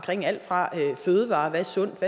alt fra fødevarer hvad er sundt og